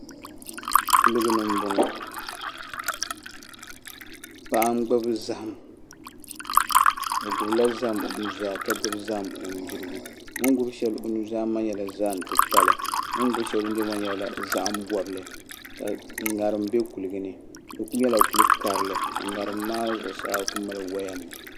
kuliga ni m-bɔŋɔ paɣa n gbubi zahim o gbubi la zahim o nuzaa ka gbubi zahim o nudirigu o ni gbubi shɛli o nuzaa maa nyɛla zahim titali o ni gbubi shɛli o nudirgu maa nyɛla zahimbɔbili ka ŋarim be kuliga ni di kuli nyɛla kul' karili ka ŋarim maa zuɣusaa kuli mali waayanima